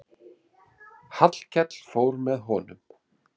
Hallkell fór með honum.